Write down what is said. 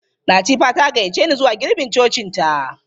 Latifa ta gayyace ni zuwa girbin cocinta.